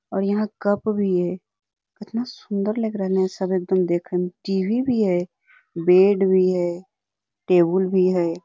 और यहाँ कप भी है केतना सुन्दर लग रहलै हे सब एकदम देखें में टी.वी. भी है बेड भी है टेबुल भी हैI